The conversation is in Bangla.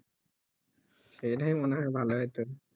সেই তাই মনে হয়ই ভালো হত